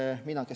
Suur tänu!